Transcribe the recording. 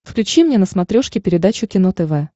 включи мне на смотрешке передачу кино тв